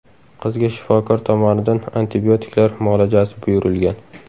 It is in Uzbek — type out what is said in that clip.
Qizga shifokor tomonidan antibiotiklar muolajasi buyurilgan.